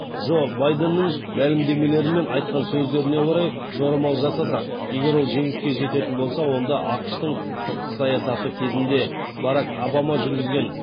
жо байденнің мәлімдемелері мен айтқан сөздеріне орай жорамал жасасақ егер ол жеңіске жететін болса онда ақш тың сыртқы саясаты кезінде барак обама жүргізген